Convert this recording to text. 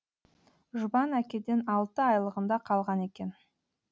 жұбан әкеден алты айлығында қалған екен